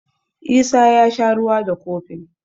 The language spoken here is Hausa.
Isa ya sha ruwa da kofin.